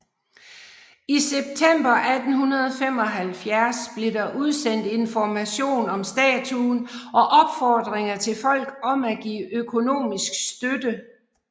I september 1875 blev der udsendt information om statuen og opfordringer til folk om at give økonomisk støtte